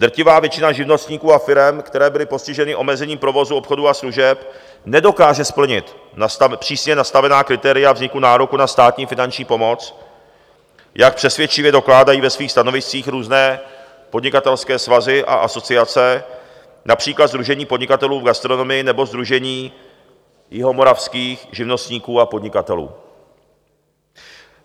Drtivá většina živnostníků a firem, které byly postiženy omezením provozu obchodu a služeb, nedokáže splnit přísně nastavená kritéria vzniku nároku na státní finanční pomoc, jak přesvědčivě dokládají ve svých stanoviscích různé podnikatelské svazy a asociace, například Sdružení podnikatelů v gastronomii nebo Sdružení jihomoravských živnostníků a podnikatelů.